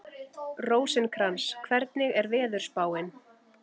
Rósinkrans, hvernig er veðurspáin?